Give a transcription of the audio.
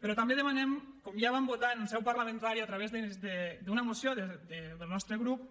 però també demanem com ja vam votar en seu parlamentària a través d’una moció del nostre grup